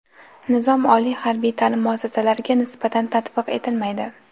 Nizom oliy harbiy taʼlim muassasalariga nisbatan tatbiq etilmaydi.